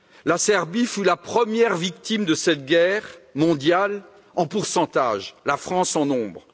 La Serbie fut la première victime de cette guerre mondiale en pourcentage, la France en nombre.